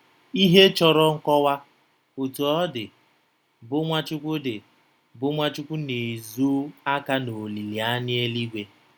Ihe chọrọ nkọwa, Otú ọ dị, bụ Nwachukwu dị, bụ Nwachukwu na-ezo aka n'olileanya eluigwe.